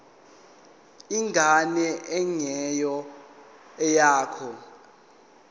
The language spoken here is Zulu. ingane engeyona eyakho